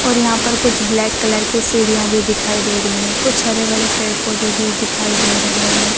और यहाँ पर कुछ ब्लैक कलर की सीढ़िया भी दिखाई दे रही है कुछ हरे भरे पेड़-पौधे भी दिखाई दे रहे है।